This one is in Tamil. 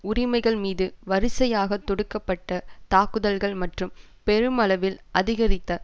உரிமைகள் மீது வரிசையாகத் தொடுக்க பட்ட தாக்குதல்கள் மற்றும் பெருமளவில் அதிகரித்த